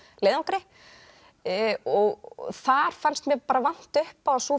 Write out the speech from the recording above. leiðangri þar fannst mér vanta upp á að sú